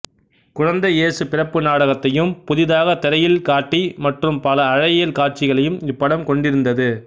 குழந்தை ஏசுபிறப்பு நாடகத்தையும் புதிதாகக திரையில் காட்டி மற்றும் பல அழகியல் காட்சிகளையும் இப்படம் கொண்டிருந்தது